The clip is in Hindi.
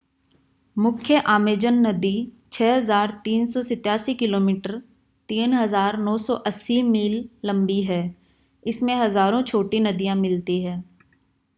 मुख्य आमेजन नदी 6,387 किमी 3,980 मील लंबी है। इसमें हजारों छोटी नदियां मिलती हैं।